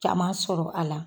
Caman sɔrɔ a la.